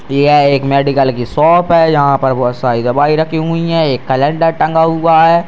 यह एक मेडिकल की शॉप है यहाँ पर बहुत सारी दवाई रखी हुई हैं एक कैलेंडर टंगा हुआ है।